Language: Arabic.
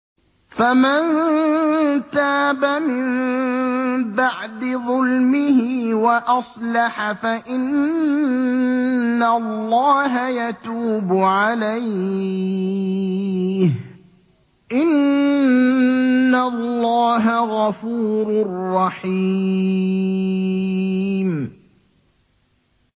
فَمَن تَابَ مِن بَعْدِ ظُلْمِهِ وَأَصْلَحَ فَإِنَّ اللَّهَ يَتُوبُ عَلَيْهِ ۗ إِنَّ اللَّهَ غَفُورٌ رَّحِيمٌ